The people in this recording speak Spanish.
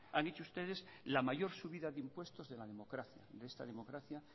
han hecho ustedes la mayor subida de impuestos de la democracia de esta democracia